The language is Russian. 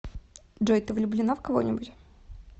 джой ты влюбленна в кого нибудь